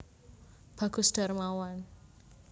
Bagus Darmawan